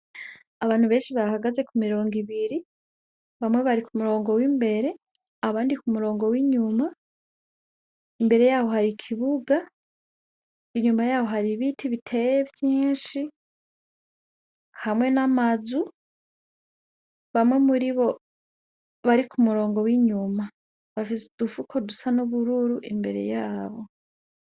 Abantu benshi bahagaz kumirongo ibiri, bamwe bari k'umurongo w'imbere abandi k'umurongo w'inyuma, imbere yaho hari ikibuga, inyuma yaho hari ibiti biteye vyinshi, hamwe n'amazu. Bamwe muribo bari k'umurongo w'inyuma bafise udufuko dusa nubururu.